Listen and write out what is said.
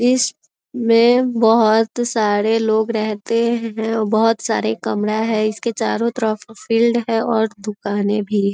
इसमें बहुत सारे लोग रहते हैं बहुत सारे कैमरा है इसके चारों तरफ फील्ड है और दुकाने भी।